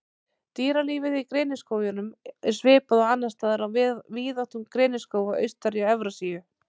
Dýralífið Í greniskógunum er svipað og annars staðar á víðáttum greniskóga austar í Evrasíu.